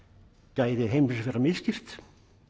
gæðum heimsins vera misskipt